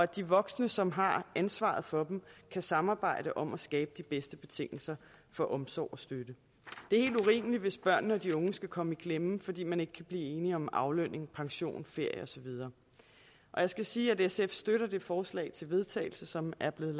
de voksne som har ansvaret for dem kan samarbejde om at skabe de bedste betingelser for omsorg og støtte det er helt urimeligt hvis børnene og de unge skal komme i klemme fordi man ikke kan blive enige om aflønning pension ferie og så videre jeg skal sige at sf støtter det forslag til vedtagelse som er blevet